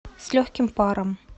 с легким паром